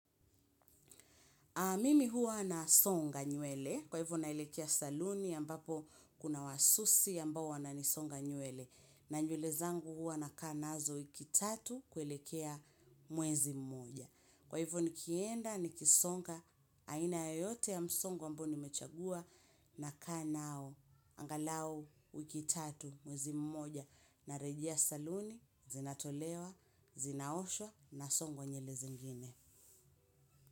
Mimi huwa nasonga nywele kwa hivyo naelekea saluni ambapo kuna wasusi ambao wananisonga nywele. Na nywele zangu huwa nakaa nazo wiki tatu kuelekea mwezi mmoja. Kwa hivyo nikienda nikisonga aina yote ya msongo ambao nimechagua nakaa nao. Angalau wiki tatu mwezi mmoja na rejea saluni zinatolewa, zinaoshwa nasonga nywele zingine.